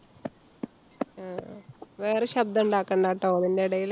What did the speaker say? ആഹ് വേറെ ശബ്‌ദം ഇണ്ടാക്കണ്ടാട്ടോ ഇതിന്‍ടെ ഇടെല്.